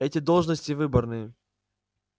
эти должности выборные